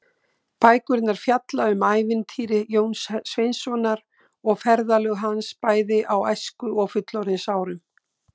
Bækurnar fjalla um ævintýri Jóns Sveinssonar og ferðalög hans, bæði á æsku- og fullorðinsárum.